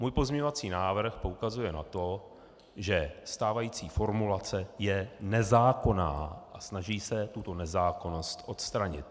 Můj pozměňovací návrh poukazuje na to, že stávající formulace je nezákonná, a snaží se tuto nezákonnost odstranit.